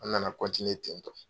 An nana ten tɔ.